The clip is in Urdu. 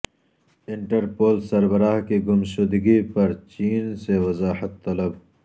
انٹر پول سربراہ کی گم شدگی پر چین سے وضاحت طلب